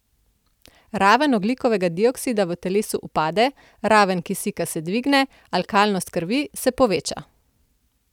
Raven ogljikovega dioksida v telesu upade, raven kisika se dvigne, alkalnost krvi se poveča.